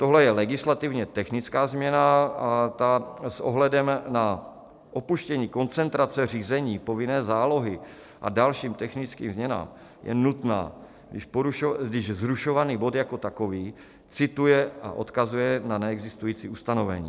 Tohle je legislativně technická změna a ta s ohledem na opuštění koncentrace řízení, povinné zálohy a další technické změny je nutná, když zrušovaný bod jako takový cituje a odkazuje na neexistující ustanovení.